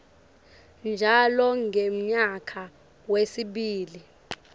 njalo ngemnyaka wesibili